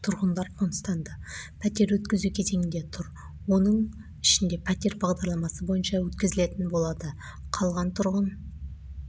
тұрғындар қоныстанды пәтер өткізу кезеңінде тұр оның ішінде пәтер бағдарламасы бойынша өткізілетін болады қалған тұрғын